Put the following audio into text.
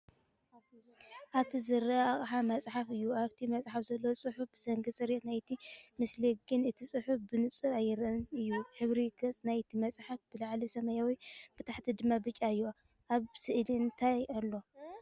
ኣብቲ ዝርአ ኣቕሓ መጽሓፍ እዩ። ኣብታ መጽሓፍ ዘሎ ጽሑፍ ብሰንኪ ጽሬት ናይቲ ምስሊ ግን እቲ ጽሑፍ ብንጹር ኣይርአን እዩ። ሕብሪ ገጽ ናይቲ መጽሓፍ ብላዕሊ ሰማያዊ፡ ብታሕቲ ድማ ብጫ እዩ። ኣብ ስእሊ እንታይ ኣሎ?